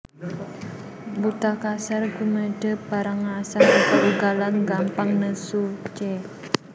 Buta kasar gumedhé brangasan ugal ugalan gampang nesu c